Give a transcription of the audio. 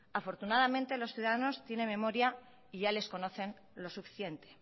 afortunadamente los ciudadanos tienen memoria y ya les conocen lo suficiente